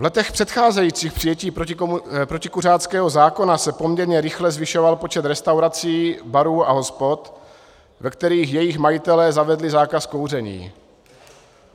V letech předcházejících přijetí protikuřáckého zákona se poměrně rychle zvyšoval počet restaurací, barů a hospod, ve kterých jejich majitelé zavedli zákaz kouření.